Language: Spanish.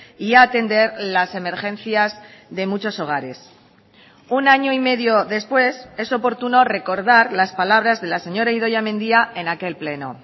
y atender las emergencias de muchos hogares un año y medio después es oportuno recordar las palabras de la señora idoia mendia en aquel pleno